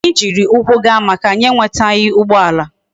Anya jiri ukwu gaa maka na anyi enwetaghi ugboala